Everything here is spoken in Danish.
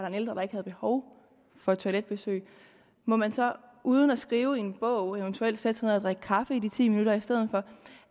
en ældre der ikke havde behov for et toiletbesøg må man så uden at skrive i en bog eventuelt sætte sig ned og drikke kaffe i de ti minutter i stedet for